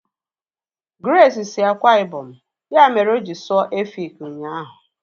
Grace si Akwa Ibom, ya mere oji sụọ Efik ụnyaahụ